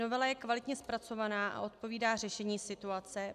Novela je kvalitně zpracovaná a odpovídá řešení situace.